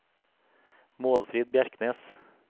Målfrid Bjerknes